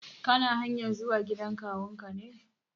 Kana hanyar zuwa gidan kawun ka ne?